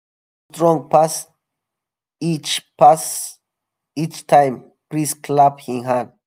breeze go strong pass each pass each time priest clap him hand.